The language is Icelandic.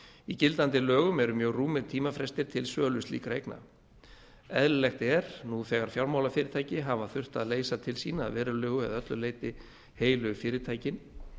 í gildandi lögum eru mjög rúmir tímafrestir til sölu slíkra eigna eðlilegt er nú þegar fjármálafyrirtæki hafa þurft að leysa til sín að verulegu eða öllu leyti heilu fyrirtækin